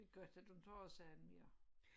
Det godt at du ikke har så ondt mere